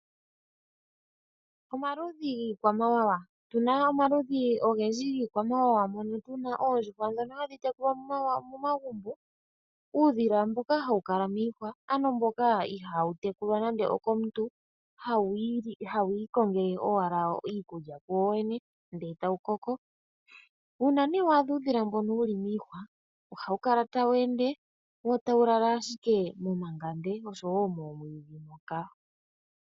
Omaludhi giikwamawawa, opuna omaludhi ogedji giikwamawawa mono muna oondjuhwa dhoka hadhi tekulwa momagumbo, uudhila mboka hawu kala miihwa ano mboka ihaa wu tekulwa nando okomuntu hawu ikongele owala iikulya ku wo wene ndele tawu koko. Uuna nee wa adha uudhila mbono wuli miihwa ohawu kala tawu ende wo tawulala ashike momangande nosho wo moomwiidhi moka.